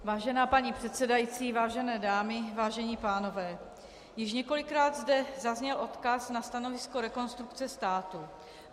Vážená paní předsedající, vážené dámy, vážení pánové, již několikrát zde zazněl odkaz na stanovisko Rekonstrukce státu.